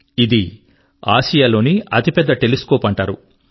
ఇది ఆసియా లోనే అతి పెద్ద టెలిస్కోప్ అంటారు